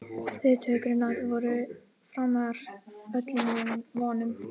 Viðtökurnar voru framar öllum vonum